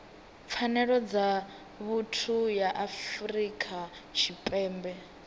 pfanelo dza vhuthu ya afrika tshipembe